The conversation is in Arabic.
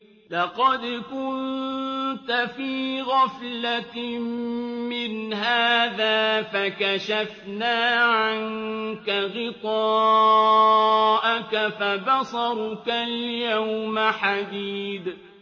لَّقَدْ كُنتَ فِي غَفْلَةٍ مِّنْ هَٰذَا فَكَشَفْنَا عَنكَ غِطَاءَكَ فَبَصَرُكَ الْيَوْمَ حَدِيدٌ